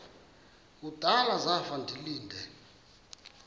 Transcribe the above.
kudala zafa ndilinde